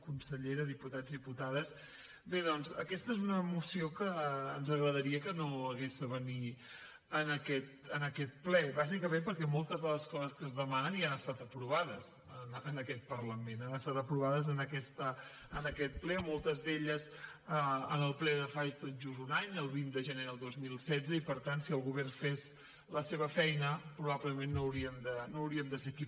consellera diputats diputades bé doncs aquesta és una moció que ens agradaria que no hagués de venir a aquest ple bàsicament perquè moltes de les coses que es demanen ja han estat aprovades en aquest parlament han estat aprovades en aquest ple moltes d’elles en el ple de fa tot just un any el vint de gener del dos mil setze i per tant si el govern fes la seva feina probablement no hauríem de ser aquí